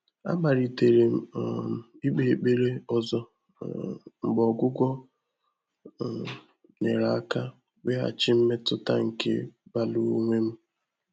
Àmàlị́tèrè m um íkpé ékpèré ọ́zọ́ um mgbè ọ́gwụ́gwọ́ um nyèrè áká íwéghàchí mmétụ́tà nké báàlụ́ ónwé m.